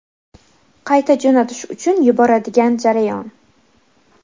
qayta jo‘natish uchun yuboradigan jarayon.